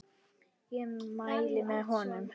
Ég mæli með honum.